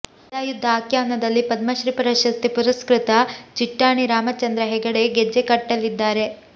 ಗದಾಯುದ್ಧ ಆಖ್ಯಾನದಲ್ಲಿ ಪದ್ಮಶ್ರೀ ಪ್ರಶಸ್ತಿ ಪುರಸ್ಕೃತ ಚಿಟ್ಟಾಣಿ ರಾಮಚಂದ್ರ ಹೆಗಡೆ ಗೆಜ್ಜೆ ಕಟ್ಟಲಿದ್ದಾರೆ